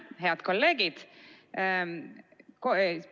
Head kolleegid!